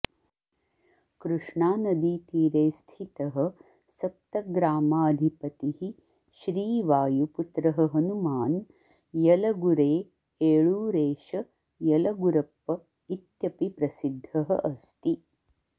कृष्णानदीतीरे स्थितः सप्तग्रामाधिपतिः श्रीवायुपुत्रः हनुमान् यलगुरे एळूरेश यलगुरप्प इत्यपि प्रसिद्धः अस्ति